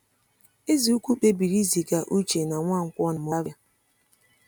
Eze ukwu kpebiri iziga Uche na Nwankwo na Moravia.